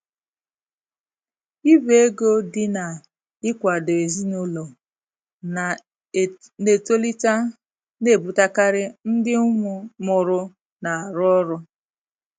Ibu ego dị na-ịkwado ezinụlọ na-etolite na-ebutekarị ndị um mụrụ na-arụ ọrụ.